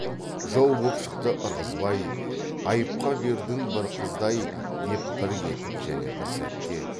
жау боп шықты ырғызбай айыпқа бердің бір қызды ай деп бір кетіп және бір сәтте